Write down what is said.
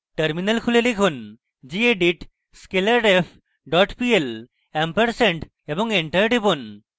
terminal খুলুন এবং লিখুন: gedit scalarref dot pl ampersand এবং enter টিপুন